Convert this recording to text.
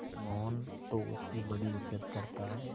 मोहन तो उसकी बड़ी इज्जत करता है